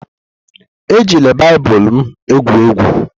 Ejila Baịbụl m egwu egwu!